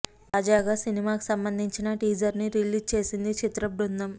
తాజాగా సినిమాకి సంబంధించిన టీజర్ ని రిలీజ్ చేసింది చిత్ర బృందం